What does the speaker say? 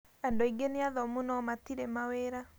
Andu aingi nĩ athomũ no matiri mawira.